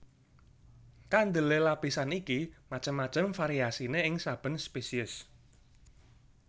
Kandelé lapisan iki macem macem variasiné ing saben spesies